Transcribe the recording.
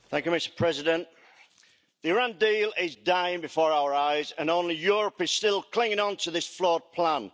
Mr President, the Iran deal is dying before our eyes and only Europe is still clinging on to this flawed plan.